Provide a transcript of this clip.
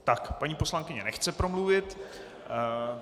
Tak, paní poslankyně nechce promluvit.